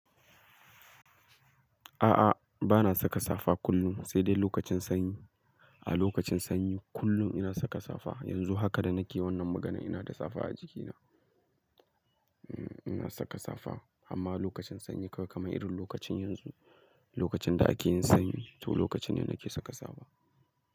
A'a, ba na saka safa kullum sai dai lokacin sanyi. A lokacin sanyi kullum ina saka safa. Yanzu haka da nake wannan maganan ina da safa a jikina. Hmm, ina saka safa amma lokacin sanyi kamar irin lokacin yanzu, lokacin da ake yin sanyi, to lokaci ne nake saka safa.